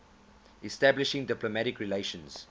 establishing diplomatic relations